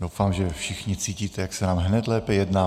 Doufám, že všichni cítíte, jak se nám hned lépe jedná.